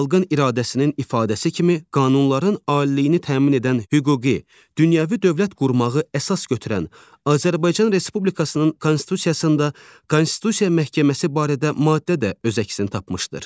Xalqın iradəsinin ifadəsi kimi qanunların aliliyini təmin edən hüquqi, dünyəvi dövlət qurmağı əsas götürən Azərbaycan Respublikasının konstitusiyasında Konstitusiya məhkəməsi barədə maddə də öz əksini tapmışdır.